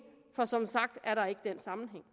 for som sagt er der ikke den sammenhæng